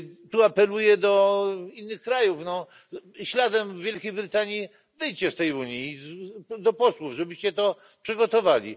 Tu apeluję do innych krajów śladem Wielkiej Brytanii wyjdźcie z tej Unii, do posłów, żebyście to przygotowali.